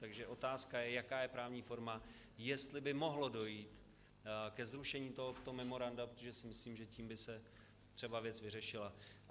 Takže otázka je, jaká je právní forma, jestli by mohlo dojít ke zrušení tohoto memoranda, protože si myslím, že tím by se třeba věc vyřešila.